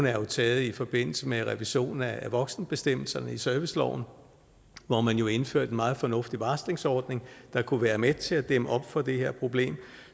er jo taget i forbindelse med revision af voksenbestemmelserne i serviceloven hvor man jo indførte en meget fornuftig varslingsordning der kunne være med til at dæmme op for det her problem